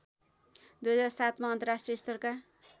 २००७ मा अन्तर्राष्ट्रिय स्तरका